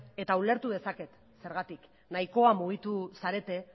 eta ulertu dezaket zergatik nahikoa mugitu zarete